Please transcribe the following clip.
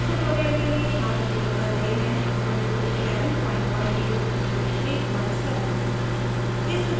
इस tutorial के लिए हम उपयोग कर रहे हैं :